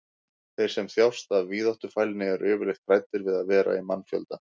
þeir sem þjást af víðáttufælni eru yfirleitt hræddir við að vera í mannfjölda